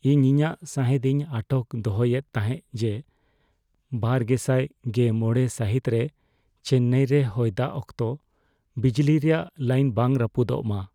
ᱤᱧ ᱤᱧᱟᱹᱜ ᱥᱟᱸᱦᱮᱫ ᱤᱧ ᱟᱴᱚᱠ ᱫᱚᱦᱚᱭᱮᱫ ᱛᱟᱦᱮᱸᱜ ᱡᱮ ᱒᱐᱑᱕ ᱥᱟᱹᱦᱤᱛ ᱨᱮ ᱪᱮᱱᱱᱟᱭ ᱨᱮ ᱦᱚᱭᱫᱟᱜ ᱚᱠᱛᱚ ᱵᱤᱡᱽᱞᱤ ᱨᱮᱭᱟᱜ ᱞᱟᱭᱤᱱ ᱵᱟᱝ ᱨᱟᱹᱯᱩᱫᱚᱜ ᱢᱟ ᱾